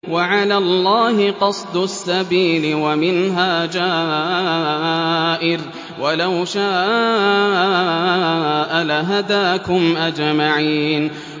وَعَلَى اللَّهِ قَصْدُ السَّبِيلِ وَمِنْهَا جَائِرٌ ۚ وَلَوْ شَاءَ لَهَدَاكُمْ أَجْمَعِينَ